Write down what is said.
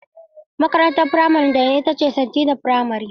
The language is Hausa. Makarantar firamare da na yi ita ce st. Tina Firamar.